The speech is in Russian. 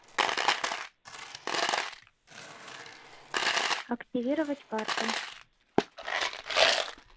активировать карту